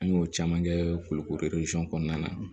An y'o caman kɛ kulukoro kɔnɔna na